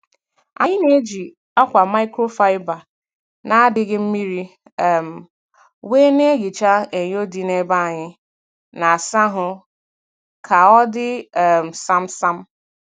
Anyị na-eji akwa microfiber na adịghị mmiri um wee na-ehicha enyo dị n'ebe anyị na-asa ahụ ka ọ dị um sam sam.